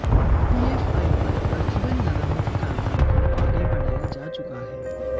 PFI पर प्रतिबंध लगाने की कार्रवाई को आगे बढ़ाया जा चुका है